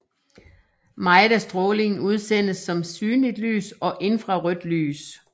Meget af strålingen udsendes som synligt lys og infrarødt lys